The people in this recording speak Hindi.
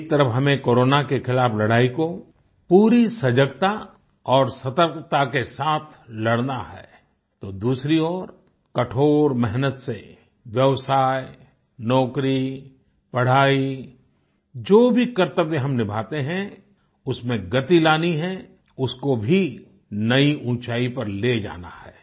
एक तरफ हमें कोरोना के खिलाफ लड़ाई को पूरी सजगता और सतर्कता के साथ लड़ना है तो दूसरी ओर कठोर मेहनत से व्यवसाय नौकरी पढाई जो भी कर्तव्य हम निभाते हैं उसमें गति लानी है उसको भी नई ऊँचाई पर ले जाना है